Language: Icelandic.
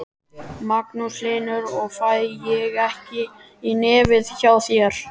Magnús Hlynur: Og fæ ég ekki í nefið hjá þér?